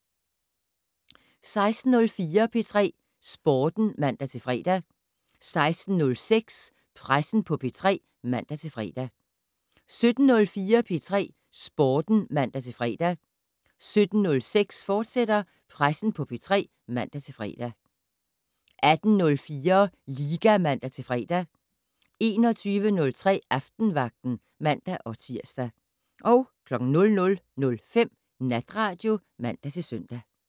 16:04: P3 Sporten (man-fre) 16:06: Pressen på P3 (man-fre) 17:04: P3 Sporten (man-fre) 17:06: Pressen på P3, fortsat (man-fre) 18:04: Liga (man-fre) 21:03: Aftenvagten (man-tir) 00:05: Natradio (man-søn)